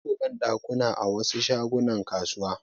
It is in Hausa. Babu banɗakuna a wasu shagunan kasuwa.